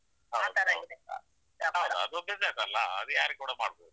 ಹೌದು ಅದು business ಅಲ್ಲ, ಅದು ಯಾರಿಗೆ ಕೂಡ ಮಾಡ್ಬಹುದು.